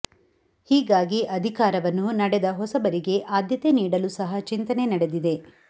ಹೀಗಾಗಿ ಅಧಿಕಾರವನ್ನು ನಡೆದ ಹೊಸಬರಿಗೆ ಆದ್ಯತೆ ನೀಡಲು ಸಹ ಚಿಂತನೆ ನಡೆದಿದೆ